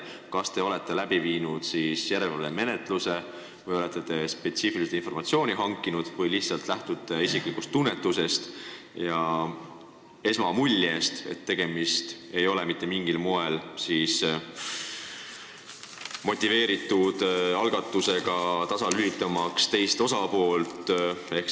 Kas te olete läbi viinud järelevalvemenetluse või olete spetsiaalselt selle kohta informatsiooni hankinud või lähtute isiklikust tunnetusest ja muljest, et tegemist ei ole mitte mingil moel motiveeritud algatusega, tasalülitamaks teist osapoolt?